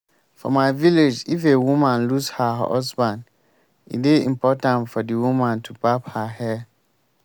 for my village if a woman lose her husband e dey important for the woman to barb her hair